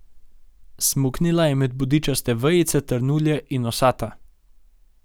Smuknila je med bodičaste vejice trnulje in osata.